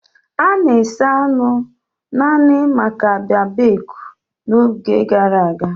A na-esa anụ naanị maka babecue n'oge gara aga.